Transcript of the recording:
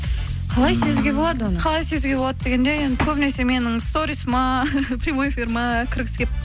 қалай сезуге болады оны қалай сезуге болады дегенде енді көбінесе менің сторисыма прямой эфиріме кіргісі келіп